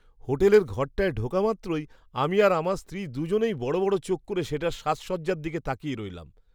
হোটেলের ঘরটায় ঢোকামাত্রই আমি আর আমার স্ত্রী দু'জনেই বড় বড় চোখ করে সেটার সাজসজ্জার দিকে তাকিয়ে রইলাম।